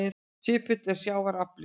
Svipull er sjávar afli.